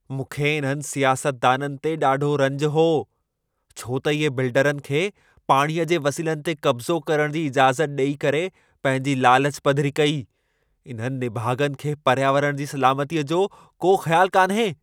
मूंखे इन्हनि सियासतदाननि ते ॾाढो रंजु हो छो त इहे बिल्डरनि खे पाणीअ जे वसीलनि ते क़ब्ज़ो करणु जी इजाज़त ॾेई करे पंहिंजी लालच पधिरी कई। इन्हनि निभाग॒नि खे पर्यावरण जी सलामतीअ जो को ख़यालु कान्हे।